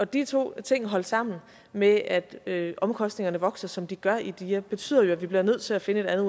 de to ting holdt sammen med at omkostningerne vokser som de gør i dia betyder at vi bliver nødt til at finde et andet